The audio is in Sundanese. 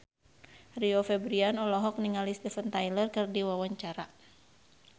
Rio Febrian olohok ningali Steven Tyler keur diwawancara